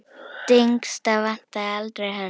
Dengsa vantaði aldrei hönd.